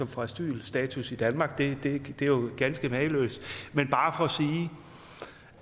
få asylstatus i danmark det er jo ganske mageløst men